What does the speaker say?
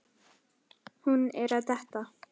Hún er að detta.